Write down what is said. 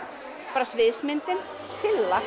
bara sviðsmyndin